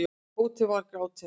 Tóti var gráti nær.